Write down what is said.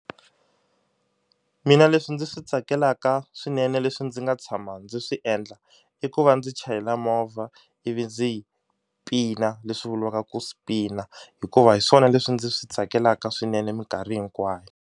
Mina leswi ndzi swi tsakelaka swinene leswi ndzi nga tshama ndzi swi endla i ku va ndzi chayela movha ivi ndzi yi pina leswi vuliwaka ku spin-a hikuva hi swona leswi ndzi swi tsakelaka swinene minkarhi hinkwayo.